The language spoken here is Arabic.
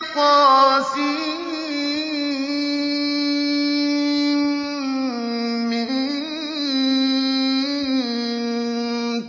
طسم